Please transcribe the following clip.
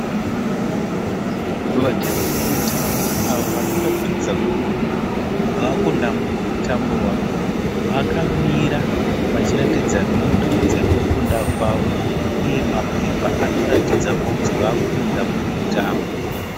Vatambi vemutambo avo vanoratidza kuti vakunda mumutambo wavo vakamira vachiratidza menduru dzekukunda kwavo uye mapepa anoratidza kuti vakunda mumutambo.